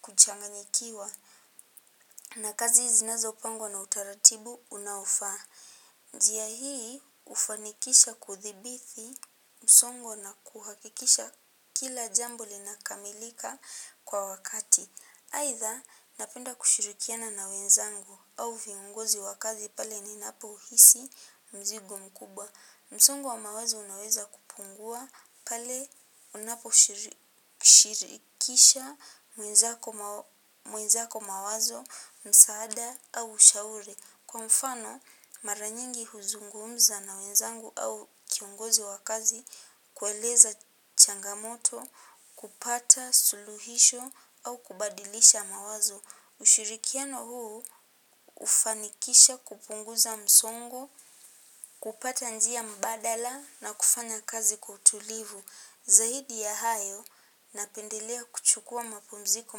kuchanganyikiwa. Na kazi zinazo pangwa na utaratibu unaofaa. Njua hii ufanikisha kuthibithi msongo na kuhakikisha kila jambo linakamilika kwa wakati. Aitha, napenda kushirikiana na wenzangu au viongozi wakazi pale nina po hisi mzigo mkubwa. Msongo wa mawazo unaweza kupungua pale unapo shirikisha mwenzako mawazo msaada au ushauri. Kwa mfano, mara nyingi huzungumza na wenzangu au kiongozi wa kazi, kueleza changamoto, kupata, suluhisho au kubadilisha mawazo. Ushirikiano huu, ufanikisha kupunguza msongo, kupata njia mbadala na kufanya kazi kwa utulivu. Zaidi ya hayo napendelea kuchukua mapumziko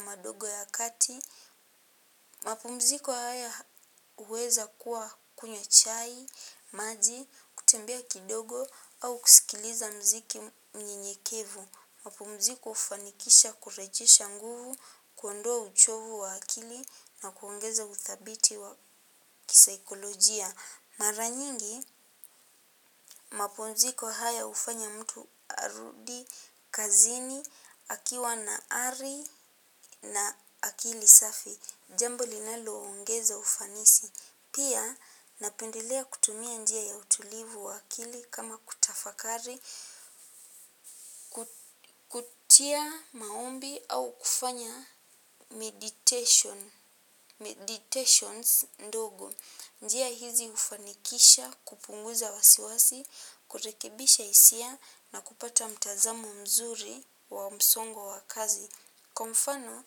madogo ya kati. Mapumziko haya uweza kuwa kunywa chai, maji, kutembea kidogo au kusikiliza mziki mnyenyekevu. Mapumziko ufanikisha kurejesha nguvu, kuondoa uchovu wa akili na kuongeza uthabiti wa kisaikolojia. Mara nyingi maponziko hayo hufanya mtu arudi kazini, akiwa na ari na akili safi, jambo linalo ongeza ufanisi, pia napendelea kutumia njia ya utulivu wa akili kama kutafakari, kutia maombi au kufanya meditations ndogo. Njia hizi ufanikisha kupunguza wasiwasi, kurekebisha hisia na kupata mtazamo mzuri wa msongo wa kazi. Kwa mfano,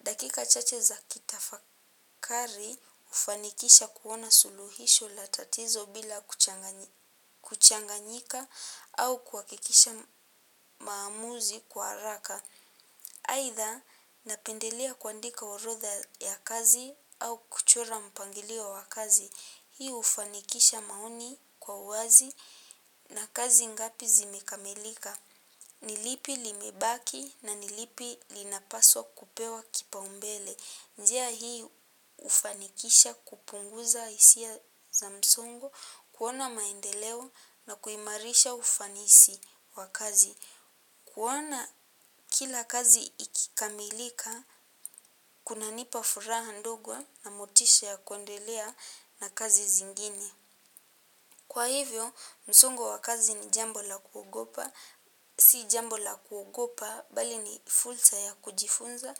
dakika chache za kitafakari ufanikisha kuona suluhisho latatizo bila kuchanganyika au kuakikisha maamuzi kwa araka. Aitha napendelea kuandika orodha ya kazi au kuchora mpangilio wa kazi. Hii ufanikisha maoni kwa uwazi na kazi ngapi zimekamilika. Nilipi limebaki na nilipi linapaswa kupewa kipa umbele. Njia hii ufanikisha kupunguza hisia za msongo, kuona maendeleo na kuimarisha ufanisi wa kazi. Kuona kila kazi ikikamilika, kuna nipafuraha ndog na motisha ya kuendelea na kazi zingine. Kwa hivyo, msongo wa kazi ni jambo la kuogopa. Si jambo la kuogopa bali ni fursa ya kujifunza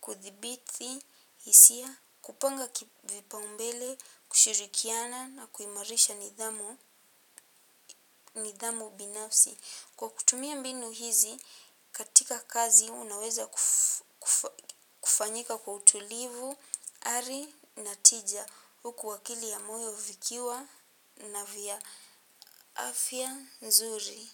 kuthibithi hisia kupanga kipaumbele kushirikiana na kuimarisha nidhamu binafsi. Kwa kutumia mbinu hizi, katika kazi, unaweza kufanyika kwa utulivu, ari, natija, huku wakili ya moyo vikiwa na vya afya, nzuri.